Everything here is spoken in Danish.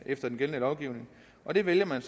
efter den gældende lovgivning og det vælger